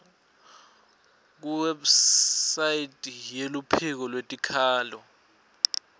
kuwebsite yeluphiko lwetikhalo